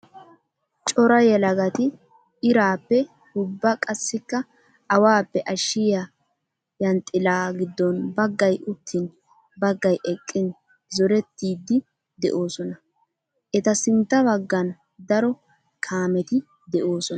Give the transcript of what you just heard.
Cora yelagatti iraappe ubba qassikka awappe ashshiya yanxxila gidon bagay uttin bagay eqqin zorettiddi de'osonna. Etta sintta bagan daro kaametti de'osonna.